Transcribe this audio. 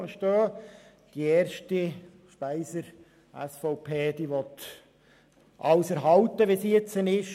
Der Antrag von Grossrätin Speiser möchte alles so erhalten, wie es jetzt ist.